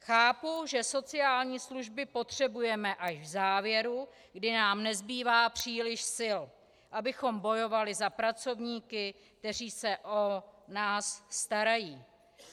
Chápu, že sociální služby potřebujeme až v závěru, kdy nám nezbývá příliš sil, abychom bojovali za pracovníky, kteří se o nás starají.